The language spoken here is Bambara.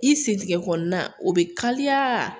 I sentɛgɛ kɔnɔna o bɛ kalaya